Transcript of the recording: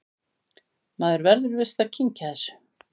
Maður verður víst að kyngja þessu